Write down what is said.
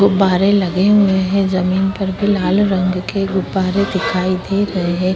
गुब्बारें लगे हुए हैं। जमीन पर भी लाल रंग के गुब्बारें दिखाई दे रहे हैं।